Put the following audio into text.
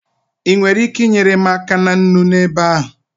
Ị nwere ike inyere m aka na nnu n'ebe ahụ?